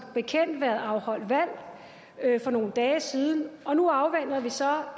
bekendt været afholdt valg for nogle dage siden og nu afventer vi så